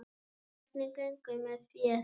Hvernig gengur með féð?